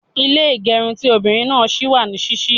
Ilé ìgẹrun ti obìnrin náà ṣì wà ní ṣíṣí.